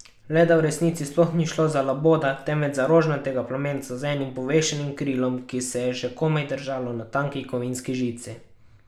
Le da v resnici sploh ni šlo za laboda, temveč za rožnatega plamenca z enim povešenim krilom, ki se je še komaj držalo na tanki kovinski žici!